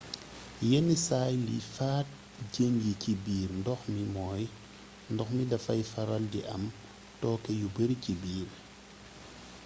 yenn saay liy faat jën yi ci biir ndox mi mooy ndox mi dafay faral di am tooke yu bari ci biir